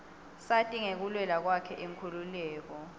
sati ngekulwela kwakhe inkhululeko